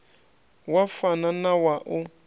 wa fana na wa u